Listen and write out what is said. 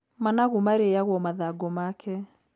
Managu marĩyagwo mathangũ make.